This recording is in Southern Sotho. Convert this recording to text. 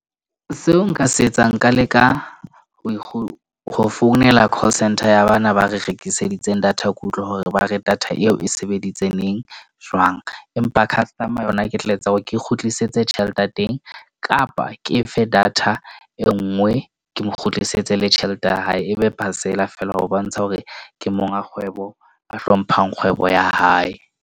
Seo nka se etsang nka leka ho founela call centre ya bana ba re rekiseditsweng data. Ke utlwe hore ba re data eo e sebeditseng neng, jwang. Empa customer yona, ke tla etsa hore ke kgutlisetse tjhelete ya teng kapa ke efe data e nngwe ke mo kgutlisetse le tjhelete ya hae. Ebe parcel-a feela ho bontsha hore ke monga kgwebo a hlomphang kgwebo ya hae.